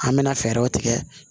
An mɛna fɛɛrɛw tigɛ